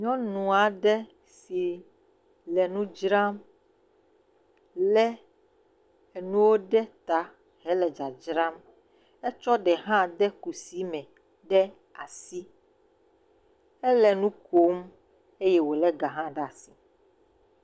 Nyɔnu aɖe si le nu dzram lé enuwo ɖe ta hele dzadzram. Etsɔ ɖe hã de kusi me ɖe asi. Ele nu kom eye wolé gã hã ɖe asi.